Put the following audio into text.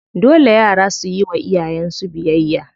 Dole yara suyi wa iyayen su biyayya.